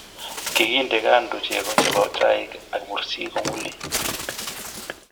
Kikiinte kando cheko che bo chaik ak mursik kong'ulei.